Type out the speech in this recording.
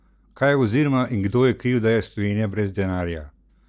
Kaj oziroma kdo je kriv, da je Slovenija brez denarja?